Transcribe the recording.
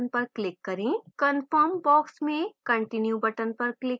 confirm box में continue button पर click करें